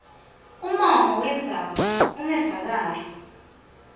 umongo wendzaba ungevakali